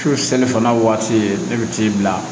Su ni fana waati e bɛ t'i bila